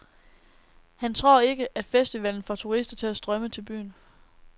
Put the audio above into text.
Han tror ikke, at festivalen får turister til at strømme til byen.